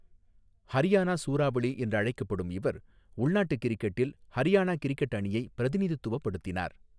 ஹரியானா சூறாவளி' என்று அழைக்கப்படும் இவர், உள்நாட்டு கிரிக்கெட்டில் ஹரியானா கிரிக்கெட் அணியை பிரதிநிதித்துவப்படுத்தினார்.